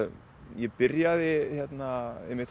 ég byrjaði einmitt